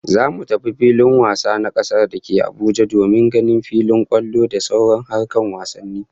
Zamu tafi filin wasa na kasa dake Abuja domin ganin filin kwallon da sauran harkar wasanni